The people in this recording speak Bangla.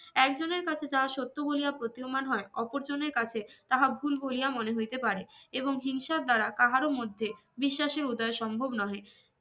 একজনের কাছে যাহা সত্য বলিয়া প্রতিও মান হয় অপর জনের কাছে তাহা ভুল বলিয়া মনে হইতে পারে এবং হিংসার দারা কাহার ও মধ্যে বিশ্বাসে উদয় সম্ভব নহে